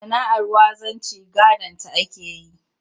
Sana'ar wanzanci gadonta ake yi